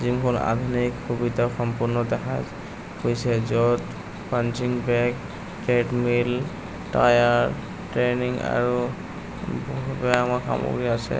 জিমখন আধুনিক সুবিধা সম্পন্ন দেখা গৈছে য'ত punching bag treadmill tyre training আৰু বহু সামগ্ৰী আছে।